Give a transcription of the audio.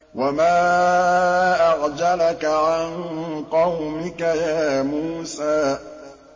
۞ وَمَا أَعْجَلَكَ عَن قَوْمِكَ يَا مُوسَىٰ